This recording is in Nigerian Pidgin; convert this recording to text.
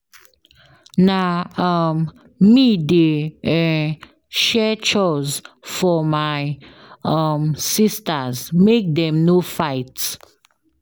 Na um me dey um share chores for my um sistas make dem no fight.